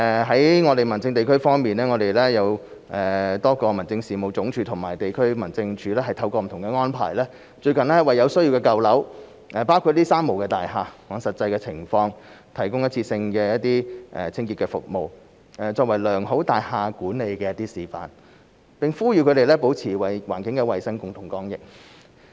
在民政事務局方面，民政事務總署及多個地區民政事務處透過不同安排，最近為有需要的舊樓，包括"三無大廈"，按實際情況，提供一次性的清潔服務，作為良好大廈管理的示範，並呼籲他們保持環境衞生，共同抗疫。